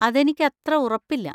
അതെനിക്കത്ര ഉറപ്പില്ല.